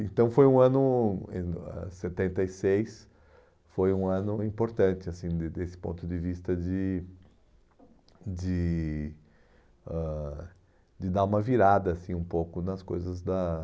Então foi um ano, em ah setenta e seis, foi um ano importante assim de desse ponto de vista de de ãh de dar uma virada assim um pouco nas coisas da